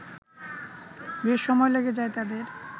বেশ সময় লেগে যায় তাদের